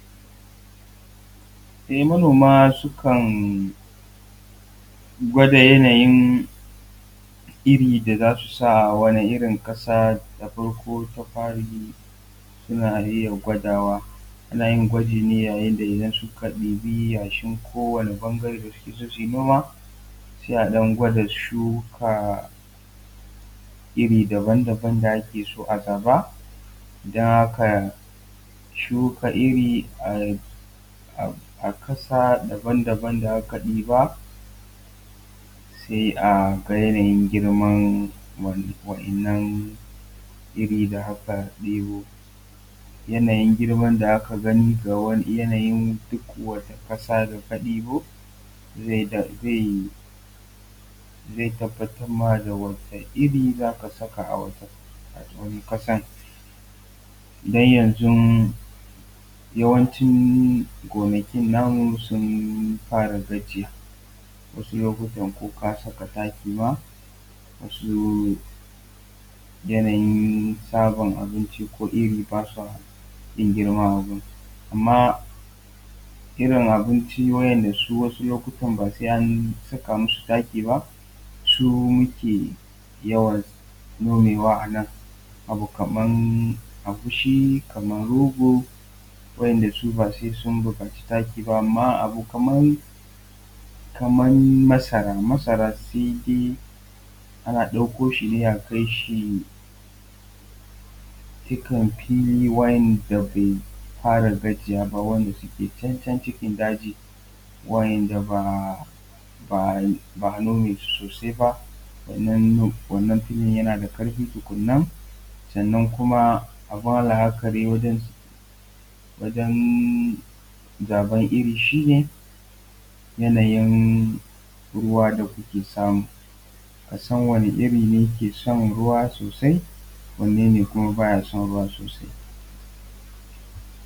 E manoma sukan gwada yanayin irin da za su sa wani irin ƙasa. Ta farko ta fari suna iya gwadawa. Ana yin gwaji ne yayin da idan suka ɗibi yashin kowane ɓangare da suke so su yi noma, sai a ɗan gwada shuka iri daban daban da ake so a gaba. Don haka shuka iri a ƙasa daban daban da aka ɗiba sai a ga yanayin girman wa'innan iri da aka ɗibo. Yanayin girman da aka gani, yanayin ko wata ƙasa da ka ɗibo zai tabbatar ma da wata iri za ka saka a wannan ƙasan. Don yanzu yawanci gonakin namu sun fara gajiya, wasu lokutan ko ka saka taki ma ba su yanayin samun abinci, ko iri, ba sa yin girma a gun amma irin abinci wa'inda su wasu lokutan ba sai an saka musu taki ba su ke yawan nomewa. A nan abu kaman agushi, kaman rogo, wa'inda su ba sai sun buƙaci taki ba. Amma abu kaman masara, masara sai dai ana ɗauko shi ne a kai shi duka fili wanda bai fara gajiya ba, wanda suke can can cikin daji, wa'inda ba a nome su sosai ba. Wannan fili yana da ƙarfi tukunna sannan kuma a fara haka ne wajan zaɓan iri shi ne yanayin ruwa da kuke samu a san wani iri ke son ruwa sosai, wane ne kuma baya son ruwa sosai.